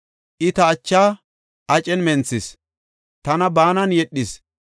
I, ta achaa acen menthis; tana baanan yedhis.